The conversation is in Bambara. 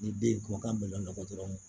Ni den ye kumakan mɛn dɔrɔn